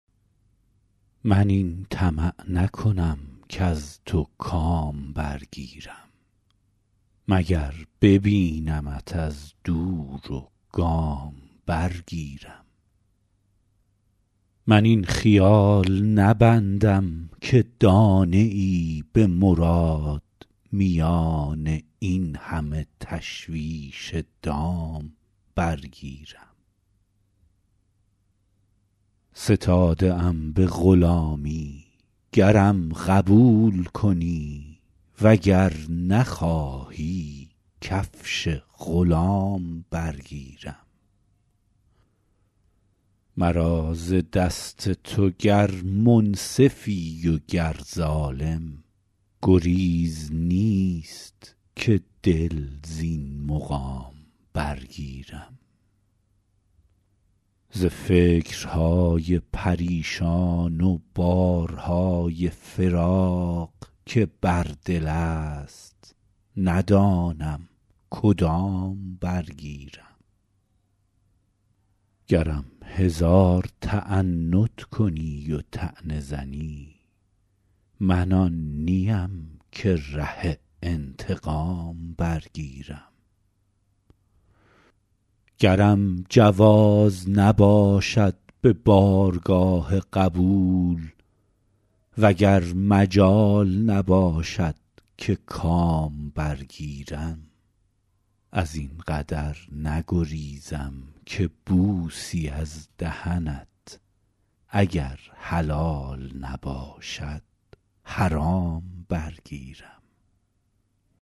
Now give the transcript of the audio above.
من این طمع نکنم کز تو کام برگیرم مگر ببینمت از دور و گام برگیرم من این خیال نبندم که دانه ای به مراد میان این همه تشویش دام برگیرم ستاده ام به غلامی گرم قبول کنی و گر نخواهی کفش غلام برگیرم مرا ز دست تو گر منصفی و گر ظالم گریز نیست که دل زین مقام برگیرم ز فکرهای پریشان و بارهای فراق که بر دل است ندانم کدام برگیرم گرم هزار تعنت کنی و طعنه زنی من آن نیم که ره انتقام برگیرم گرم جواز نباشد به بارگاه قبول و گر مجال نباشد که کام برگیرم از این قدر نگریزم که بوسی از دهنت اگر حلال نباشد حرام برگیرم